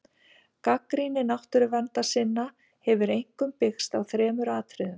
Gagnrýni náttúruverndarsinna hefur einkum byggst á þremur atriðum.